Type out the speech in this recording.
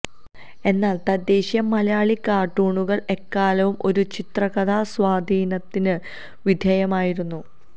എന്നാല് തദ്ദേശീയ മലയാളി കാര്ട്ടൂണുകള് എക്കാലവും ഒരു ചിത്രകഥാ സ്വാധീനത്തിന് വിധേയമായിരുന്നു